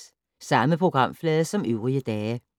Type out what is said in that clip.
Samme programflade som øvrige dage